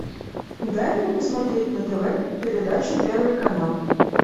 дай мне посмотреть на тв передачу первый канал